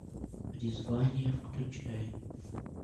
призвание включай